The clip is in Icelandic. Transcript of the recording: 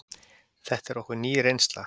Þetta er okkur ný reynsla.